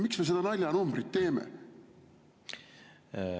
Miks me selles naljanumbris?